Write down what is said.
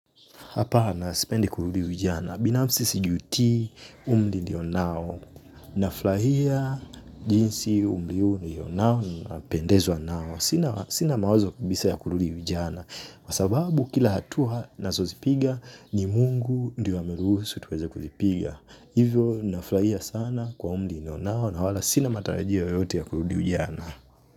Hapana, sipende kurudi ujana. Binafsi sijutii umri nilio nao. Nafurahia jinsi umri huu nilio nao napendezwa nao. Sina mawazo kabisa ya kurudi ujana. Kwasababu kila hatua ninazo zipiga ni mungu ndio ameruhusu tuweza kuzipiga. Hivyo, nafurahia sana kwa umri nilio nao na wala sina matarajio yoyote ya kurudi ujana.